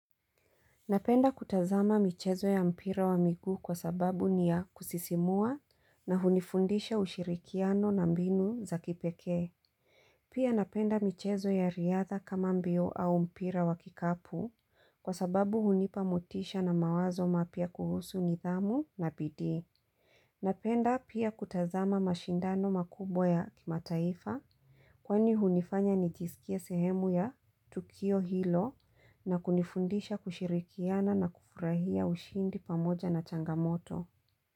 Napenda kutazama michezo ya mpira wa miguu kwa sababu ni ya kusisimua na hunifundisha ushirikiano na mbinu za kipekee. Pia napenda michezo ya riadha kama mbio au mpira wa kikapu kwa sababu hunipa mutisha na mawazo mapya kuhusu nidhamu na bidii. Napenda pia kutazama mashindano makubwa ya kima taifa kwani hunifanya nijisikie sehemu ya Tukio Hilo na kunifundisha kushirikiana na kufurahia ushindi pamoja na changamoto.